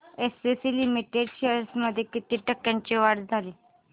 ACC limited shares मध्ये किती टक्क्यांची वाढ झाली